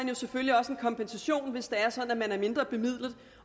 de selvfølgelig også en kompensation hvis det er sådan at de er mindre bemidlede